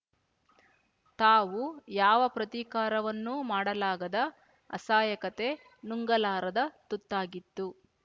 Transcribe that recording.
ತಾವು ಯಾವ ಪ್ರತೀಕಾರವನ್ನೂ ಮಾಡಲಾಗದ ಅಸಹಾಯಕತೆ ನುಂಗಲಾರದ ತುತ್ತಾಗಿತ್ತು